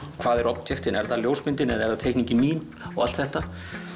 hvað eru objektin er það ljósmyndin eða er það teikningin mín og allt þetta